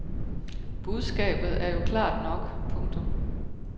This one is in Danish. Budskabet er jo klart nok. punktum